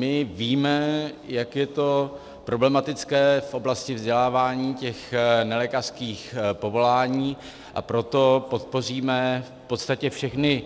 My víme, jak je to problematické v oblasti vzdělávání těch nelékařských povolání, a proto podpoříme v podstatě všechny